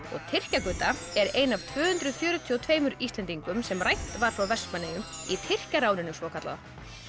Tyrkja Gudda er ein af tvö hundruð fjörutíu og tveimur Íslendingum sem rænt var frá Vestmannaeyjum í Tyrkjaráninu svokallaða